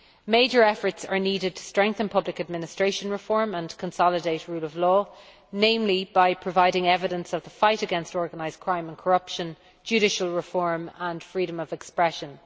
Major efforts are needed to strengthen public administration reform and consolidate rule of law, namely by providing evidence of the fight against organised crime and corruption, judicial reform and freedom of expression.